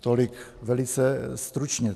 Tolik velice stručně.